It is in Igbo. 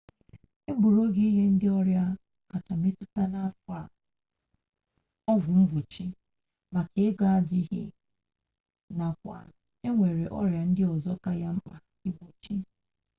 e gburu oge ịnye ndị ọrịa kacha metụta n'afọ a ọgwụ mgbochi maka ego adịghị nakwa enwere ọrịa ndị ọzọ ka ya mkpa igbochi